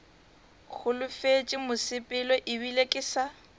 holofetše mosepelo ebile ke sa